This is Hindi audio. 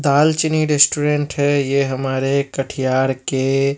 दाल चीनी रेस्टोरेंट है ये हमारे कटिहार के--